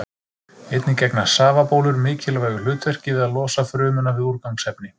Einnig gegna safabólur mikilvægu hlutverki við að losa frumuna við úrgangsefni.